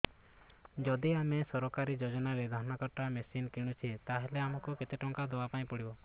ଯଦି ଆମେ ସରକାରୀ ଯୋଜନାରେ ଧାନ କଟା ମେସିନ୍ କିଣୁଛେ ତାହାଲେ ଆମକୁ କେତେ ଟଙ୍କା ଦବାପାଇଁ ପଡିବ